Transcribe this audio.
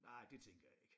Nej det tænker jeg ikke